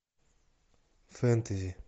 фэнтези